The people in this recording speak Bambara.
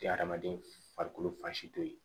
Tɛ hadamaden farikolo fan si to ye